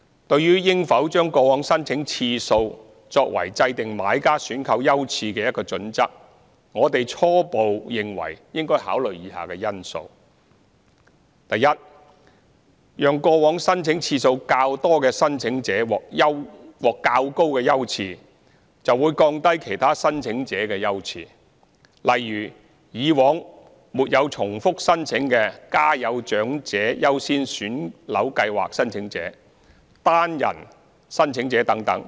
對於應否將過往申請次數作為制訂買家選購優次的一個準則，我們初步認為應考慮以下因素： a 讓過往申請次數較多的申請者獲較高優次，會降低其他申請者的優次，例如以往沒有重複申請的"家有長者優先選樓計劃"申請者、單人申請者等。